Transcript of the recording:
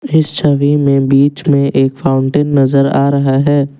इस छवि में बीच में एक फाउंटेन नजर आ रहा है।